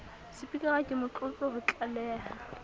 sepikara ke motlotlo ho tlaleha